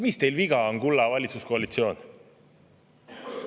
Mis teil viga on, kulla valitsuskoalitsioon?!